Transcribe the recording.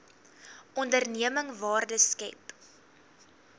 onderneming waarde skep